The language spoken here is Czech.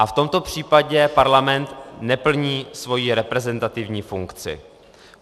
A v tomto případě parlament neplní svoji reprezentativní funkci.